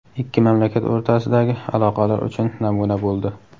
ikki mamlakat o‘rtasidagi aloqalar uchun namuna bo‘ldi.